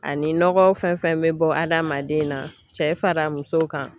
Ani nɔgɔ fɛn fɛn bɛ bɔ adamaden na cɛ fara muso kan